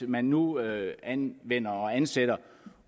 man nu anvender og ansætter